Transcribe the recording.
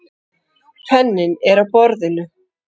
Penninn er á borðinu.